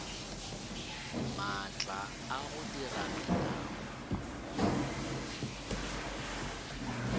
maatla a go dira melao